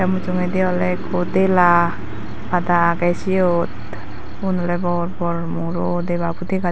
mujongodi ole ikko dela pada agey siyot ubun bor bor muro debabot dega.